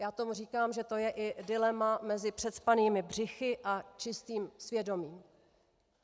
Já tomu říkám, že to je i dilema mezi přecpanými břichy a čistým svědomím.